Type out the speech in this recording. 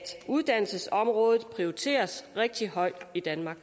uddannelsesområdet prioriteres rigtig højt i danmark